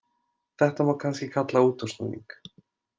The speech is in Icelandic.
Þetta má kannski kalla útúrsnúning.